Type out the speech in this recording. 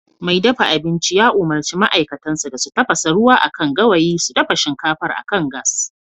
Mai dafa abinci ya umurci ma'aikatansa da su tafasa ruwa akan gawayi su dafa shinkafar akan gas